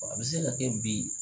A bɛ se ka kɛ bi